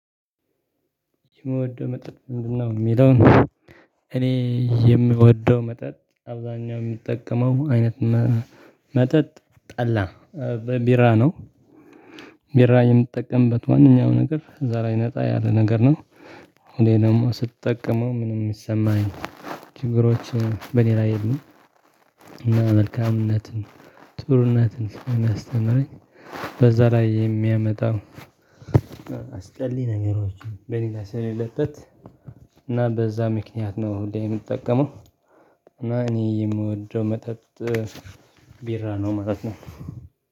የምወደው መጠጥ ምንድነው? እሚለውን እኔ የምወደው መጠጥ አብዛኛው እሚጠቀመው አይነት መጠጥ ጠላ በቢራ ነው። ቢራ የምትጠቀምበት ዋናው ነገር እዛ ላይ ነጣ ያለ ነገር ነው። እኔ ደግሞ ስትጠቀመው ምንም እሚሰማኝ ችግሮች በእኔ ላይ የሉም። መልካምነትን ጥሩነትን ስለሚያስተምረኝ በዛ ላይ የሚያመጣው አስጠሊ ነገሮችን በእኔ ላይ ስለሌለበት እና በዛ ምክንያት ነው ሁሌ እምጠቀመው። እና እኔ የምወደው መጠጥ ቢራ ነው ማለት ነው።